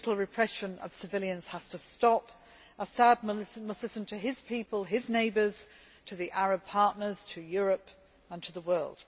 The brutal repression of civilians has to stop. Assad must listen to his people, his neighbours, to the Arab partners, to Europe and to the world.